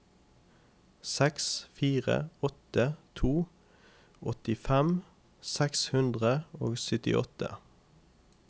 seks fire åtte to åttifem seks hundre og syttiåtte